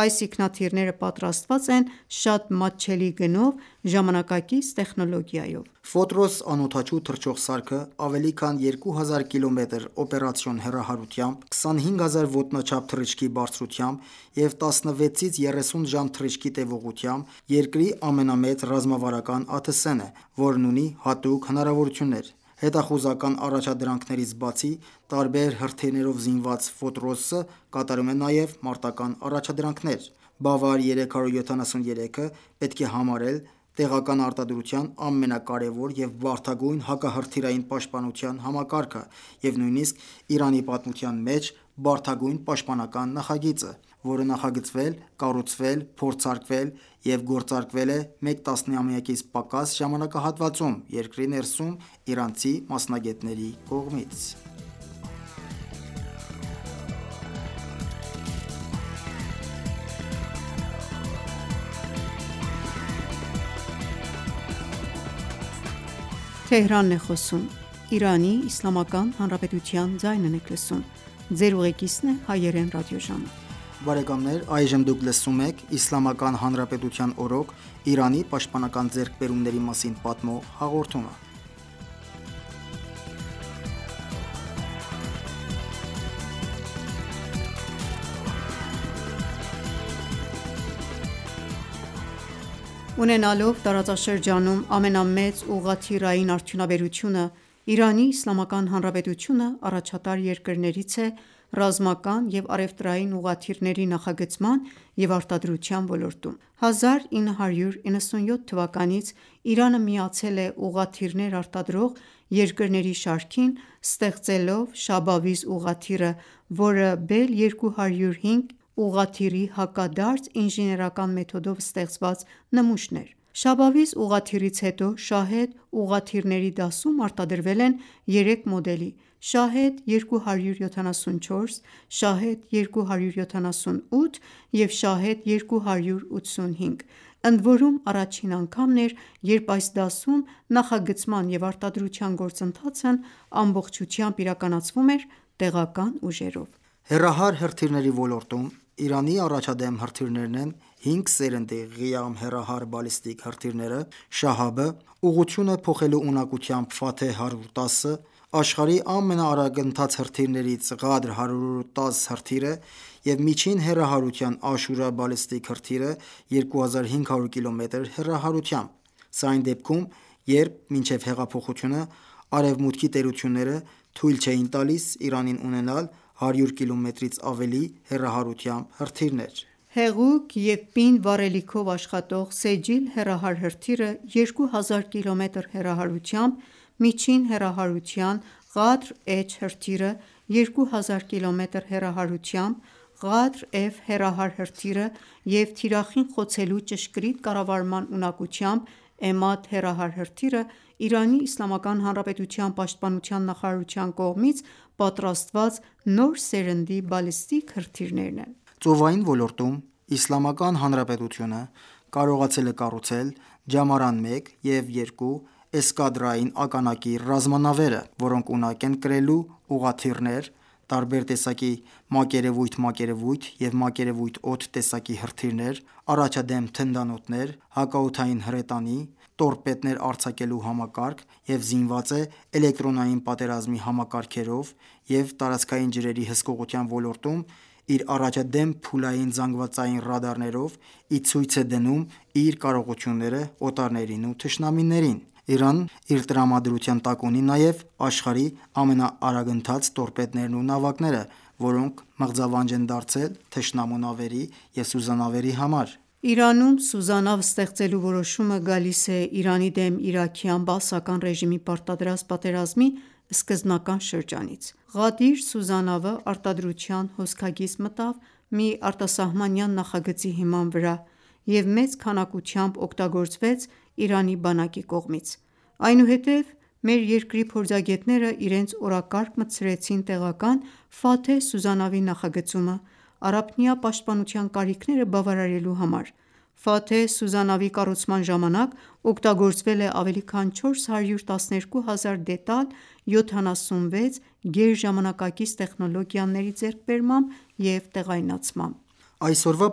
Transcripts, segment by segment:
Այս ինքնաթիռները պատրաստված են շատ մատչելի գնով՝ ժամանակակից տեխնոլոգիայով։ «Ֆոտրոս» անօդաչու թռչող սարքը ավելի քան 2000 կիլոմետր օպերացիոն հեռահարությամբ, 25000 ոտնաչափ թռիչքի բարձրությամբ և 16-ից 30 ժամ թռիչքի տեւողությամբ երկրի ամենամեծ ռազմավարական ԱԹՍ-ն է, որն ունի հատուկ հնարավորություններ։ Հետախուզական առաջադրանքներից բացի, տարբեր հրթիռներով զինված «Ֆոտրոս»-ը կատարում է նաև մարտական առաջադրանքներ։ «Բավար 373»-ը պետք է համարել տեղական արտադրության ամենակարևոր և բարդագույն հակահրթիռային պաշտպանության համակարգը և նույնիսկ Իրանի պատմության մեջ բարդագույն պաշտպանական նախագիծը, որը նախագծվել, կառուցվել, փորձարկվել և գործարկվել է մեկ տասնամյակից պակաս ժամանակահատվածում՝ երկրի ներսում իրանցի մասնագետների կողմից։ Ունենալով տարածաշրջանում ամենամեծ ուղղաթիռային արդյունաբերությունը՝ Իրանի Իսլամական Հանրապետությունը առաջատար երկրներից է ռազմական և առևտրային ուղղաթիռների նախագծման և արտադրության ոլորտում: 1997 թվականից Իրանը միացել է ուղղաթիռներ արտադրող երկրների շարքին՝ ստեղծելով «Շաբավիզ» ուղղաթիռը, որը «Բել-205» ուղղաթիռի հակադարձ ինժեներական մեթոդով ստեղծված նմուշն էր։ Շաբավիզ ուղղաթիռից հետո «Շահեդ» ուղղաթիռների դասում արտադրվել են երեք մոդելի՝ «Շահեդ-274», «Շահեդ-278» և «Շահեդ-285», ընդորում առաջին անգամն էր, երբ այս դասում նախագծման և արտադրության գործընթացն ամբողջությամբ իրականացվում էր տեղական ուժերով։ Հեռահար հրթիռների ոլորտում Իրանի առաջադեմ հրթիռներն են հինգ սերնդի «Ղիամ» հեռահար բալիստիկ հրթիռները, «Շահաբ»-ը, ուղղությունը փոխելու ունակությամբ «Ֆաթեհ -110»-ը, աշխարհի ամենաարագընթաց հրթիռներից «Ղադր-110» հրթիռը և միջին հեռահարության «Աշուրա» բալիստիկ հրթիռը՝ 2500 կմ հեռահարությամբ։ Սա այն դեպքում, երբ մինչեւ հեղափոխությունը արևմուտքի տերությունները թույլ չէին տալիս Իրանին ունենալ 100 կիլոմետրից ավելի հեռահարությամբ հրթիռներ։ Հեղուկ և պինդ վառելիքով աշխատող «Սեջիլ» հեռահար հրթիռը՝ 2000 կմ հեռահարությամբ, միջին հեռահարության «Ղադր H» հրթիռը, 2000 կմ հեռահարությամբ «Ղադր-F» հեռահար հրթիռը և թիրախին խոցելու ճշգրիտ կառավարման ունակությամբ «Էմադ» հեռահար հրթիռը Իրանի Իսլամական Հանրապետության պաշտպանության նախարարության կողմից պատրաստված նոր սերնդի բալիստիկ հրթիռներն են։ Ծովային ոլորտում Իսլամական Հանրապետությունը կարողացել է կառուցել «Ջամարան 1» և «2» Էսկադրային ականակիր ռազմանավերը, որոնք ունակ են կրելու ուղղաթիռներ, տարբեր տեսակի «մակերևույթ-մակերևույթ » և «մակերևույթ-օդ» տեսակի հրթիռներ, առաջադեմ թնդանոթներ, հակաօդային հրետանի, տորպեդներ արձակելու համակարգ, և զինված է էլեկտրոնային պատերազմի համակարգերով, և տարածքային ջրերի հսկողության ոլորտում իր առաջադեմ փուլային զանգվածային ռադարներով ի ցույց է դնում իր կարողությունները օտարներին ու թշնամիներին: Իրանն իր տրամադրության տակ ունի նաև աշխարհի ամենաարագընթաց տորպեդներն ու նավակները, որոնք մղձավանջ են դարձել թշնամու նավերի և սուզանավերի համար։ Իրանում սուզանավ ստեղծելու որոշումը գալիս է Իրանի դեմ իրաքյան բաասական ռեժիմի պարտադրած պատերազմի սկզբնական շրջանից։ «Ղադիր» սուզանավը արտադրության հոսքագիծ մտավ մի արտասահմանյան նախագծի հիման վրա և մեծ քանակությամբ օգտագործվեց Իրանի բանակի կողմից։ Այնուհետև, մեր երկրի փորձագետները իրենց օրակարգ մտցրեցին տեղական «Ֆաթեհ» սուզանավի նախագծումը՝ առափնյա պաշտպանության կարիքները բավարարելու համար։ «Ֆաթեհ» սուզանավի կառուցման ժամանակ օգտագործվել է ավելի քան 412 հազար դետալ՝ 76 գերժամանակակից տեխնոլոգիաների ձեռքբերմամբ և տեղայնացմամբ։ Այսօրվա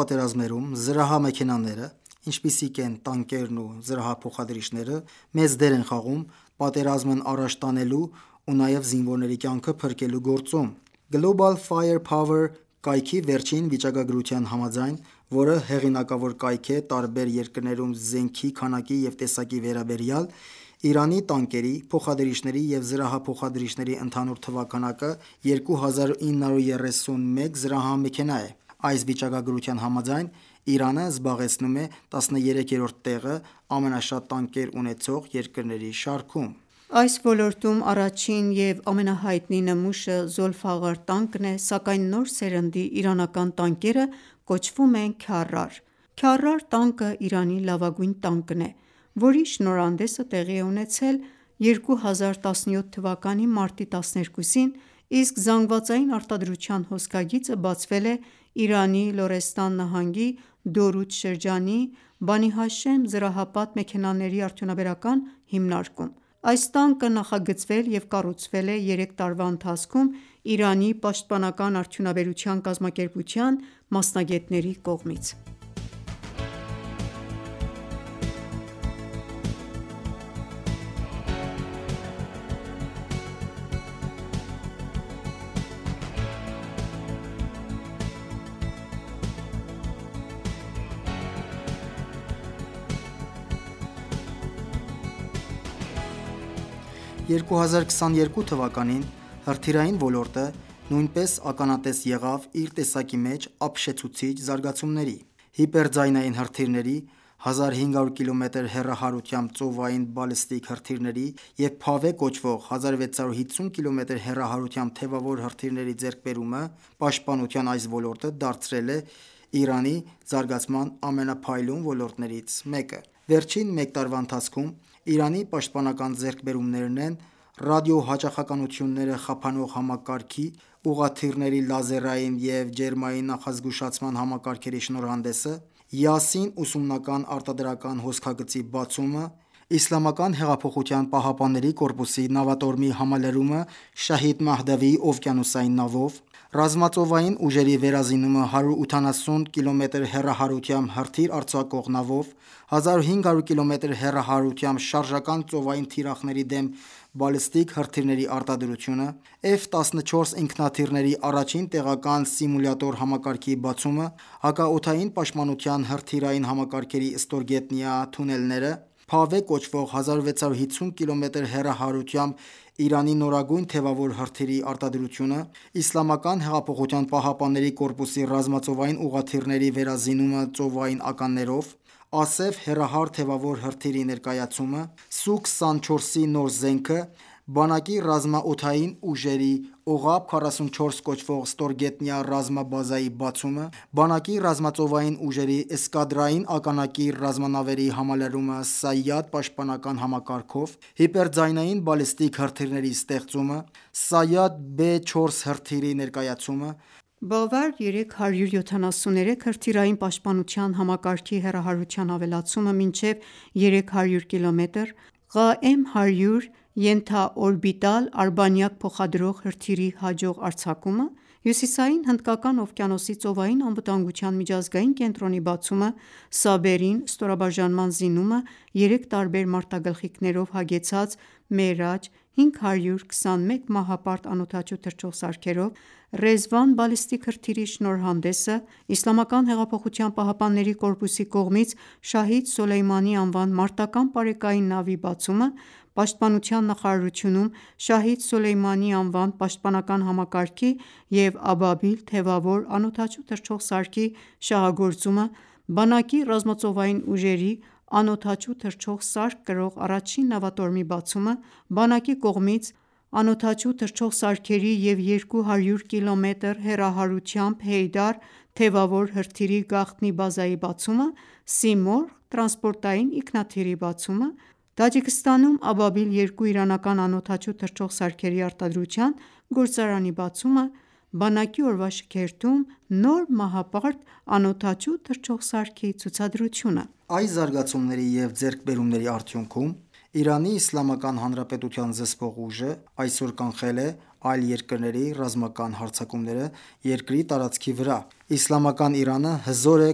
պատերազմներում զրահամեքենաները, ինչպիսիք են տանկերն ու զրահափոխադրիչները, մեծ դեր են խաղում պատերազմն առաջ տանելու ու նաև զինվորների կյանքը փրկելու գործում։ «Global Fire Power» կայքի վերջին վիճակագրության համաձայն, որը հեղինակավոր կայք է տարբեր երկրներում զենքի քանակի և տեսակի վերաբերյալ, Իրանի տանկերի, փոխադրիչների և զրահափոխադրիչների ընդհանուր թվաքանակը 2931 զրահամեքենա է։ Այս վիճակագրության համաձայն՝ Իրանը զբաղեցնում է 13-րդ տեղը ամենաշատ տանկեր ունեցող երկրների շարքում։ Այս ոլորտում առաջին և ամենահայտնի նմուշը «Զոլֆաղար» տանկն է, սակայն նոր սերնդի իրանական տանկերը կոչվում են «Քարար»։ Քարար տանկը Իրանի լավագույն տանկն է, որի շնորհանդեսը տեղի է ունեցել 2017 թվականի մարտի 12-ին, իսկ զանգվածային արտադրության հոսքագիծը բացվել է Իրանի Լորեստան նահանգի Դորուդ շրջանի «Բանիհաշեմ զրահապատ մեքենաների արդյունաբերական» հիմնարկում։ Այս տանկը նախագծվել և կառուցվել է երեք տարվա ընթացքում Իրանի պաշտպանական արդյունաբերության կազմակերպության մասնագետների կողմից ։ 2022 թվականին հրթիռային ոլորտը նույնպես ականատես եղավ իր տեսակի մեջ ապշեցուցիչ զարգացումների: Հիպերձայնային հրթիռների, 1500 կմ հեռահարությամբ ծովային բալիստիկ հրթիռների և «Փավեհ» կոչվող, 1650 կմ հեռահարությամբ թեւավոր հրթիռների ձեռքբերումը պաշտպանության այս ոլորտը դարձրել է Իրանի զարգացման ամենափայլուն ոլորտներց մեկը։ Վերջին մեկ տարվա ընթացքում Իրանի պաշտպանական ձեռքբերումներն են ռադիոհաճախականությունները խափանող համակարգի (jammer system), ուղաթիռների լազերային և ջերմային նախազգուշացման համակարգերի շնորհանդեսը, «Յասին» ուսումնական արտադրական հոսքագծի բացումը, ԻՀՊԿ-ի նավատորմի համալրումը «Շահիդ Մահդավի» օվկիանոսային նավով ռազմածովային ուժերի վերազինումը 180 կմ հեռահարությամբ հրթիռ արձակող նավով, 1500 կմ հեռահարությամբ շարժական ծովային թիրախների դեմ բալիստիկ հրթիռների արտադրությունը, F-14 ինքնաթիռի առաջին տեղական սիմուլյատոր համակարգի բացումը, հակաօդային պաշտպանության հրթիռային համակարգերի ստորգետնյա թունելները, «Փավեհ» կոչվող, 1650 կմ հեռահարությամբ Իրանի նորագույն թեւավոր հրթիռի արտադրությունը, Իսլամական հեղափոխության պահապանների կորպուսի ռազմածովային ուղղաթիռների վերազինումը ծովային ականներով, «Ասեֆ» հեռահար թեւավոր հրթիռի ներկայացումը, Սու24-ի նոր զենքը, բանակի ռազմաօդային ուժերի՝ «Օղաբ 44» կոչվող «ստորգետնյա» ռազմաբազայի բացումը, բանակի ռազմածովային ուժերի Էսկադրային ականակիր ռազմանավերի համալրումը «Սայադ» պաշտպանական համակարգով, հիպերձայնային բալիստիկ հրթիռի ստեղծումը, «Սայադ-B4» հրթիռի ներկայացումը, «Բավար-373» հրթիռային պաշտպանության համակարգի հեռահարության ավելացումը մինչև 300 կմ, «Ղաեմ-100» ենթաօրբիտալ արբանյակ փոխադրող հրթիռի հաջող արձակումը, Հյուսիսային Հնդկական օվկիանոսի ծովային անվտանգության միջազգային կենտրոնի բացումը, «Սաբերին» ստորաբաժանման զինումը երեք տարբեր մարտագլխիկներով հագեցած «Մերաջ-521» մահապարտ ԱԹՍ-ներով, «Ռեզվան» բալիստիկ հրթիռի շնորհանդեսը, Իսլամական հեղափոխության պահապանների կորպուսի կողմից «Շահիդ Սուլեյմանի» անվան մարտական պարեկային նավի բացումը, պաշտպանության նախարարությունում «Շահիդ Սուլեյմանի» անվան պաշտպանական համակարգի և «Աբաբիլ» թևավոր ԱԹՍ-ի շահագործումը, բանակի ռազմածովային ուժերի՝ ԱԹՍ կրող առաջին նավատորմի բացումը, բանակի կողմից Անօդաչու թռչող սարքերի և 200 կմ հեռահարությամբ «Հեյդար» թեւավոր հրթիռի գաղտնի բազայի բացումը, «Սիմորղ» տրանսպորտային ինքնաթիռի բացումը, Տաջիկստանում «Աբաբիլ-2» իրանական անօդաչու թռչող սարքերի արտադրության գործարանի բացումը, բանակի օրվա շքերթում նոր մահապարտ ԱԹՍ-ի ցուցադրությունը։ Այս զարգացումների և ձեռքբերումների արդյունքում Իրանի Իսլամական Հանրապետության զսպող ուժը այսօր կանխել է այլ երկրների ռազմական հարձակումները երկրի տարածքի վրա: Իսլամական Իրանը հզոր է,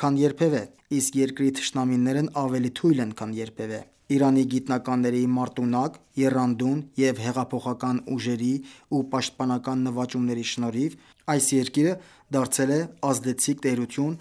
քան երբևէ, իսկ երկրի թշնամիներն ավելի թույլ են, քան երբևէ: Իրանի գիտնականների մարտունակ, եռանդուն և հեղափոխական ուժերի ու պաշտպանական նվաճումների շնորհիվ այս երկիրը դարձել է ազդեցիկ տերություն